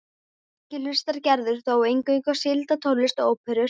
Ekki hlustar Gerður þó eingöngu á sígilda tónlist og óperur.